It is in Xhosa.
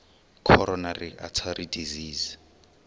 coronary artery disease